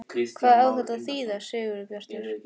HVAÐ Á ÞETTA AÐ ÞÝÐA, SIGURBJARTUR?